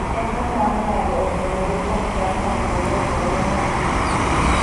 Yien ma cham nyago otenore kuom chal mopogore opogore mag pidhogi.